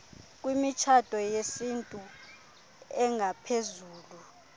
kwimitshato yesintu engaphezulu